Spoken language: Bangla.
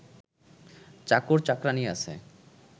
চাকর চাকরানী আছে